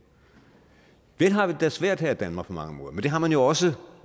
vel har vi det da svært her i danmark på mange måder men det har man jo også